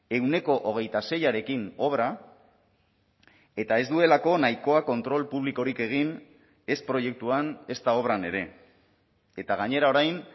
ehuneko hogeita seiarekin obra eta ez duelako nahikoa kontrol publikorik egin ez proiektuan ezta obran ere eta gainera orain